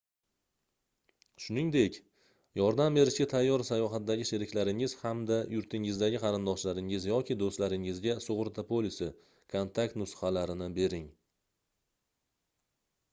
shuningdek yordam berishga tayyor sayohatdagi sheriklaringiz hamda yurtingizdagi qarindoshlaringiz yoki do'stlaringizga sug'urta polisi/kontakt nusxalarini bering